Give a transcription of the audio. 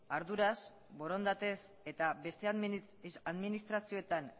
arduraz borondatez eta beste administrazioetan